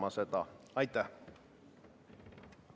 Palun seda ettepanekut hääletada!